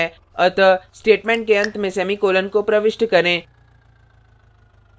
अतः statement के अंत में semicolon को प्रविष्ट करें